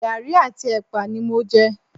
Garí àti epa ni mo jẹ